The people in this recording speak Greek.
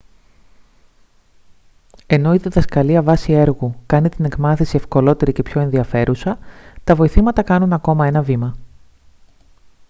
ενώ η διδασκαλία βάσει έργου κάνει την εκμάθηση ευκολότερη και πιο ενδιαφέρουσα τα βοηθήματα κάνουν ακόμα ένα βήμα